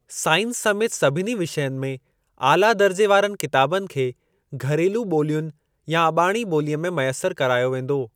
Science समेति सभिनी विषयनि में आला दर्जे वारनि किताबनि खे घरेलू ॿोलियुनि या अॿाणी ॿोलीअ में मयसर करायो वेंदो।